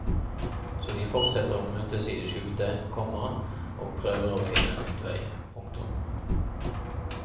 Så de fortsetter å møtes i det skjulte, komma og prøver å finne en utvei. punktum